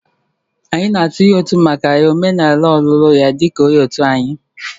Anyị na-atụnye ụtụ maka ya omenala ọlụlụ ya di ka onye òtù anyị